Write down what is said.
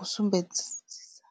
u sumbedzisisa.